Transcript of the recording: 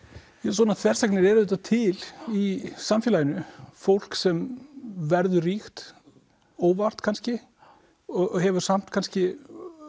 svona þversagnir eru auðvitað til í samfélaginu fólk sem verður ríkt óvart kannski og hefur samt kannski